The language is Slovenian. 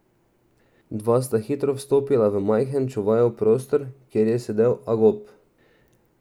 Dva sta hitro vstopila v majhen čuvajev prostor, kjer je sedel Agop.